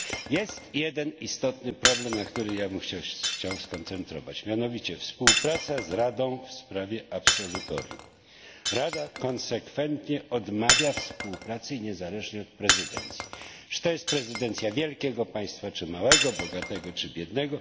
Jest jeden istotny problem, na którym chciałbym się skoncentrować, mianowicie współpraca z Radą w sprawie absolutorium. Rada konsekwentnie odmawia współpracy niezależnie od prezydencji czy to jest prezydencja wielkiego państwa czy małego, bogatego czy biednego.